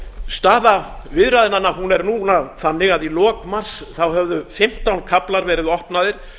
staða viðræðnanna er núna þannig að í lok mars höfðu fimmtán kaflar verið opnaðir